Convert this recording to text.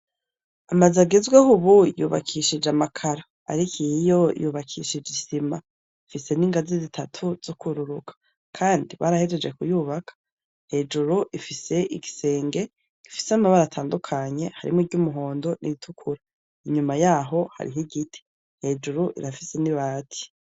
Amazu agezweho ubu yubakishijwe amakaro, ariko iyiyo yubakishijwe isima, ifise n'ingazi zitatu zukwururuka kandi barahejeje kuyubaka hejuru ifise igisenge gifise amabara atandukanye harimwo iry'umuhondo, n'iritukura, inyuma yaho hariho igiti hejuru irafise n'ibati.